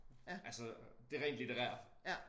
Altså det rent litterære